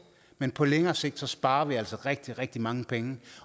men på længere sigt sparer vi altså rigtig rigtig mange penge